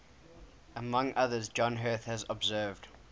among others john heath has observed